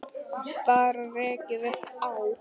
Bara rekið upp Á!